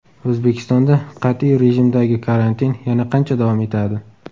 O‘zbekistonda qat’iy rejimdagi karantin yana qancha davom etadi?